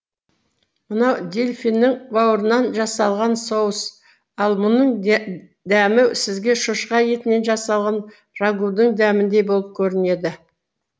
мынау дельфиннің бауырынан жасалған соус ал мұның дәмі сізге шошқа етінен жасаған рагудын дәміндей болып көрінеді